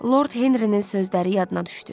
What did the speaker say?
Lord Henrinin sözləri yadına düşdü.